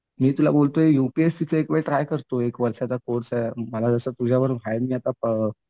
मी तुला बोलतोय यूपीएससीचं एकवेळ ट्राय करतोय. एक वर्षाचा कोर्स आहे मला जसं अ